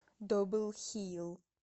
добл хил